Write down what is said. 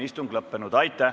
Istungi lõpp kell 10.07.